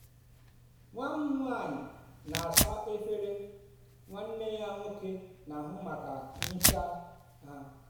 nwa m nwanyị na-asa efere nwanne ya nwoke na-ahụ maka ihicha ha.